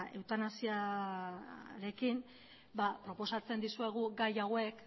eutanasiarekin ba proposatzen dizuegu gai hauek